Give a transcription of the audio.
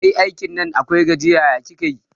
Kai, aikin Nan akwai gajiya, ya kika yi?